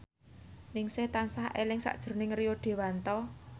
Ningsih tansah eling sakjroning Rio Dewanto